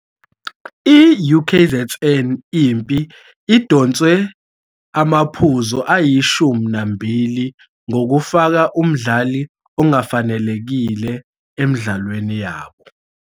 I-UKZN Impi idonswe amaphuzu ayishumi nambili ngokufaka umdlali ongafanelekile emidlalweni yabo.